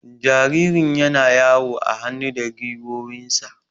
Jaririn yana yawo a hannu da gwiwoyinsa.